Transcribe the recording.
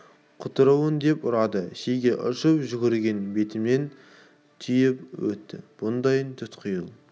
құтыруын деп ұрады шеге ұшып жүгірген бетімен түйіп өтті бұндай тұтқиыл